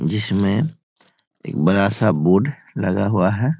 इसमें एक बड़ा सा बोर्ड लगा हुआ है।